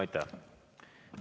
Aitäh!